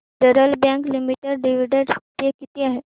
federal Bank Limited dividend pay किती आहे